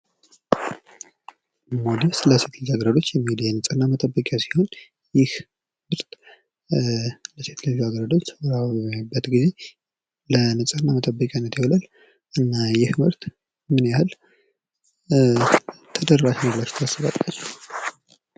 ሞዴስ ለሴት ልጃገረዶች የንፅህና መጠበቂያ ሴት ልጅ አገረዶች ወር አበባ በሚያዩበት ጊዜ ለንፅህና መጠበቂያነት ይውላል። እና ይህ ምርት ምን ያህል ተደራሽ ነው ብላችሁ ታስባላችሁ።